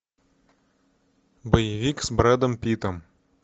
боевик с брэдом питтом